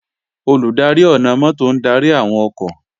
Olùdarí ọ̀nà-mọ́tò ń darí àwọn ọkọ̀